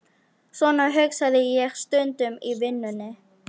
Svona hugsaði ég stundum í vinnunni.